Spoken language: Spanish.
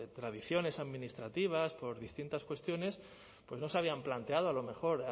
tradiciones administrativas por distintas cuestiones pues no se habían planteado a lo mejor